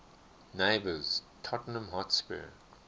neighbours tottenham hotspur